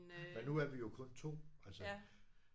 Men nu er vi jo kun 2 altså